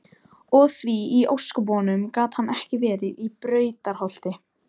Og því í ósköpunum gat hann ekki verið í Brautarholti?